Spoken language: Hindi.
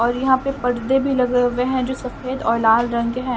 और यहां पे पर्दे भी लगे हुए है जो सफेद और लाल रंग के है।